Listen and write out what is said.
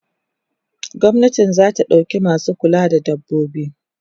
gwamnati zata ɗauka masu kulawa da dabbobi